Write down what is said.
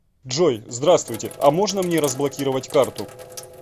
джой здравствуйте а можно мне разблокировать карту